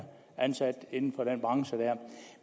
ansat inden for den branche